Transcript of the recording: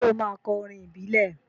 Ṣé ó máa kọ orin ìbílẹ̀?